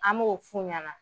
An b'o f'u ɲɛna.